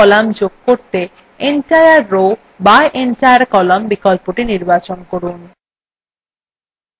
একটি সারি বা column যোগ করতে entire row বা entire column বিকল্পটি নির্বাচন করুন